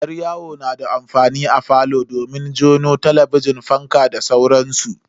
Yar yawo na da amfani a falo domin jona su talabijin, fankan da sauransu.